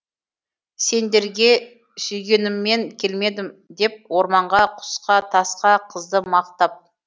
сендерге сүйгеніммен келмедім деп орманға құсқа тасқа қызды мақтап